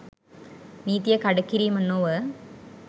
නීතිය කඩකිරීම නොව